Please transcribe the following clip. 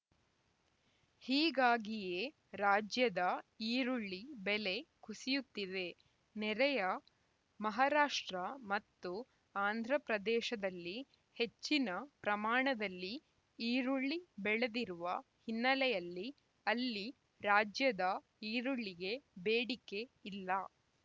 ಹೀಗಾಗಿಯೇ ರಾಜ್ಯದ ಈರುಳ್ಳಿ ಬೆಲೆ ಕುಸಿಯುತ್ತಿವೇ ನೆರೆಯ ಮಹಾರಾಷ್ಟ್ರ ಮತ್ತು ಆಂಧ್ರಪ್ರದೇಶದಲ್ಲಿ ಹೆಚ್ಚಿನ ಪ್ರಮಾಣದಲ್ಲಿ ಈರುಳ್ಳಿ ಬೆಳೆದಿರುವ ಹಿನ್ನೆಲೆಯಲ್ಲಿ ಅಲ್ಲಿ ರಾಜ್ಯದ ಈರುಳ್ಳಿಗೆ ಬೇಡಿಕೆ ಇಲ್ಲ